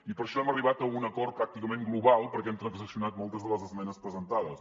i per això hem arribat a un acord pràcticament global perquè hem transaccionat moltes de les esmenes presentades